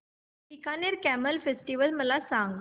Bikaner camel festival मला सांग